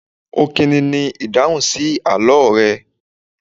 Ọkini ni ìdáhùn sí àlọ́ rẹ.